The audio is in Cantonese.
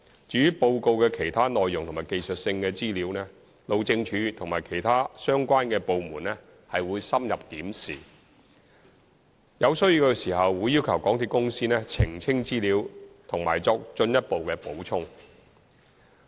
至於報告的其他內容及技術性資料，路政署和其他相關的部門深入審視，有需要時會要求港鐵公司澄清資料或作進一步補充。